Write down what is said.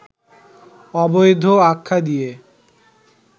অবৈধ আখ্যা দিয়ে